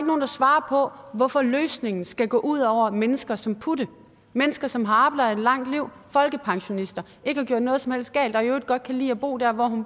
nogen der svarer på hvorfor løsningen skal gå ud over mennesker som putte mennesker som har arbejdet et langt liv er folkepensionister ikke har gjort noget som helst galt og i øvrigt godt kan lide at bo der hvor